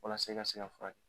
Walasa i ka se ka furak